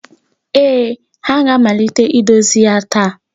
Ee, ha ga-amalite idozi ya taa.